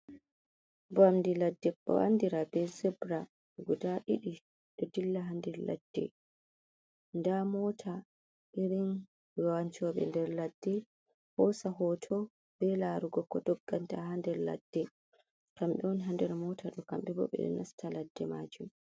Vamd'e ladde, (andira be zebira) guda didi d'o dilla ha nder ladde. 'Da mota irin wanco'be nder ladde hosa hoto be laara ko doggata ha nder ladde; kam'be on ha nder mota d'o; d'embo 'be d'o nasta ladde maajun.